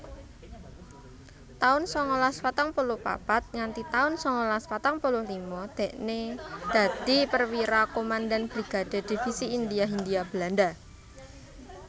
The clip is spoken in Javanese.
taun sangalas patang puluh papat nganthi taun sangalas patang puluh lima dhekne dadi Perwira Komandan Brigade Divisi India Hindia Belanda